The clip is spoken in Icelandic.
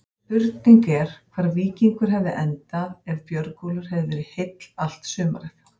Spurning er hvar Víkingur hefði endað ef Björgólfur hefði verið heill allt sumarið?